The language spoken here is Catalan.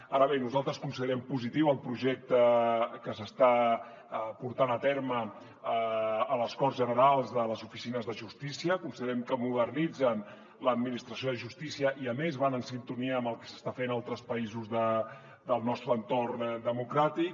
ara bé nosaltres considerem positiu el projecte que s’està portant a terme a les corts generals de les oficines de justícia considerem que modernitzen l’administració de justícia i a més van en sintonia amb el que s’està fent a altres països del nostre entorn democràtic